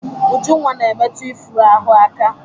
Ujunwa na-emetụ ifuru ahụ aka.